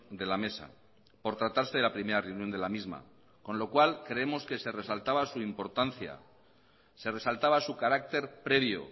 de la mesa por tratarse de la primera reunión de la misma con lo cual creemos que se resaltaba su importancia se resaltaba su carácter previo